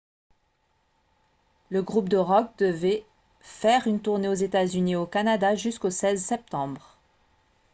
le groupe de rock devait faire une tournée aux états-unis et au canada jusqu'au 16 septembre